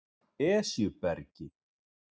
Esjubergi